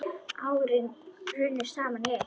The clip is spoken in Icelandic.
Árin runnu saman í eitt.